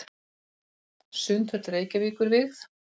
Sundhöll Reykjavíkur vígð.